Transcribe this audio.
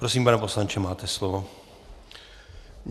Prosím, pane poslanče, máte slovo.